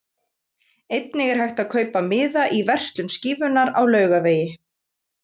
Einnig er hægt að kaupa miða í verslun Skífunnar á Laugavegi.